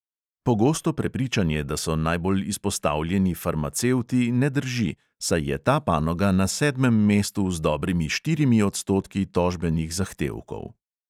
Pogosto prepričanje, da so najbolj izpostavljeni farmacevti, ne drži, saj je ta panoga na sedmem mestu z dobrimi štirimi odstotki tožbenih zahtevkov.